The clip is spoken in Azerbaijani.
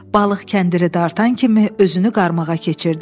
Balıq kəndiri dartan kimi özünü qarmağa keçirdi.